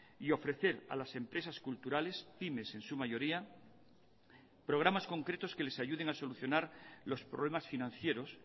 y ofrecer a las empresas culturales pymes en su mayoría programas concretos que les ayuden a solucionar los problemas financieros